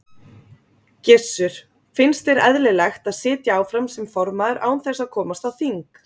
Gissur: Finnst þér eðlilegt að sitja áfram sem formaður án þess að komast á þing?